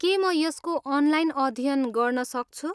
के म यसको अनलाइन अध्ययन गर्न सक्छु?